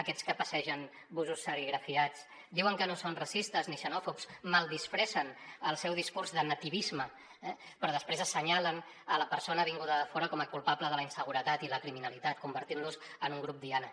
aquests que passegen busos serigrafiats diuen que no són racistes ni xenòfobs mal disfressen el seu discurs de nativisme però després assenyalen la persona vinguda de fora com a culpable de la inseguretat i la criminalitat convertint los en un grup diana